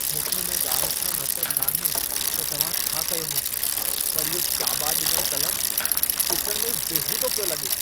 मूंखे इन ॻाल्हि सां मतलबु नाहे त तव्हां छा कयो हो, पर इहो चाॿा ॾिनलु क़लमु ॾिसण में ई बेहूदो पियो लॻे।